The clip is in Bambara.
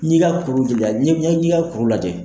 N yi ka kuru dela , n ye i ka kuru de lajɛ.